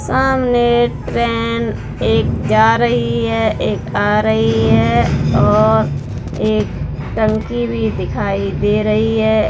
सामने ट्रेन एक जा रही है एक आ रही है औ और एक टंकी भी दिखाई दे रही है।